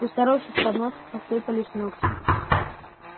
у старухи с подноса посыпались ногти